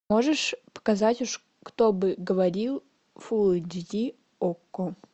можешь показать кто бы говорил фулл эйч ди окко